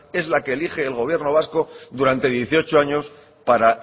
es la que elige el gobierno vasco durante dieciocho años para